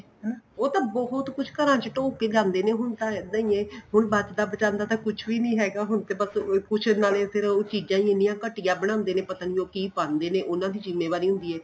ਉਹ ਤਾਂ ਬਹੁਤ ਕੁੱਝ ਘਰਾਂ ਵਿੱਚ ਢੋਹ ਕੇ ਜਾਂਦੇ ਨੇ ਹੁਣ ਤਾਂ ਇੱਦਾਂ ਹੀ ਏ ਹੁਣ ਬਚਦਾ ਬਚਾਦਾ ਕੁੱਝ ਵੀ ਨਹੀਂ ਹੈਗਾ ਹੁਣ ਤੇ ਬੱਸ ਕੁੱਝ ਨਵੇਂ ਸਿਰੋ ਉਹ ਚੀਜਾਂ ਹੀ ਇੰਨੀਆਂ ਘਟੀਆ ਬਣਾਦੇ ਨੇ ਪਤਾ ਨਹੀਂ ਉਹ ਕਿ ਪਾਂਦੇ ਉਹਨਾ ਦੀ ਜ਼ਿਮੇਵਾਰੀ ਹੁੰਦੀ ਏ